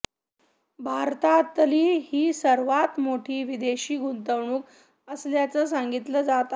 भारतातली ही सर्वात मोठी विदेशी गुंतवणूक असल्याचं सांगितलं जात आहे